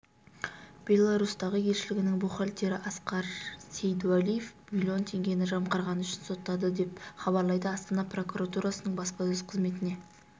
беларусьтағы елшілігінің бухгалтері асқар сейдуәлиев миллион теңгені жымқырғаны үшін сотталды деп хабарлайды астана прокуратурасының баспасөз қызметіне